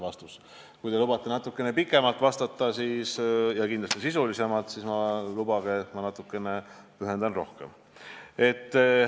Kui te lubate vastata natukene pikemalt ja kindlasti sisulisemalt, siis lubage, et ma pühendan sellele teemale natukene rohkem aega.